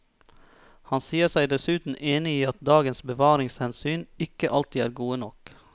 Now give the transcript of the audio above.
Han sier seg dessuten enig i at dagens bevaringshensyn ikke alltid er gode nok.